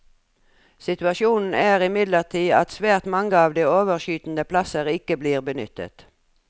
Situasjonen er imidlertid at svært mange av de overskytende plasser ikke blir benyttet.